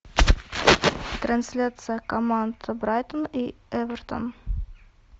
трансляция команд брайтон и эвертон